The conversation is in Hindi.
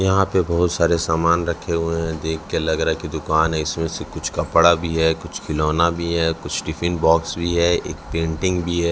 यहां पे बहोत सारे सामान रखे हुए हैं। देख के लग रहा है की दुकान है। इसमें से कुछ कपड़ा भी है कुछ खिलौने भी है कुछ टिफिन बॉक्स भी है एक पेंटिंग भी है।